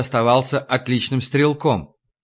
оставался отличным стрелком